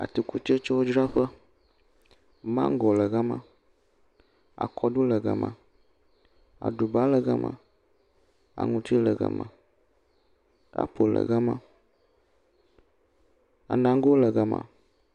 Atikutsetsewodzraƒe, maŋgɔ le gama, akɔɖu le gama, aɖiba le gama, akutu le gama, apple le gama, anago le gama.